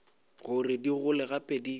gore di gole gape di